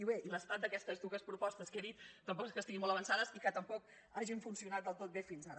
i bé l’estat d’aquestes dues propostes que he dit tampoc és que estiguin molt avançades ni que tampoc hagin funcionat del tot bé fins ara